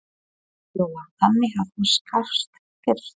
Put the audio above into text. Lóa: Þannig að þú skalfst fyrst?